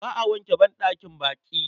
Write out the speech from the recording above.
Ba a wanke banɗakin baƙi.